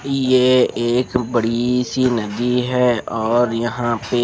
ये एक बड़ी सी नदी है और यह पे--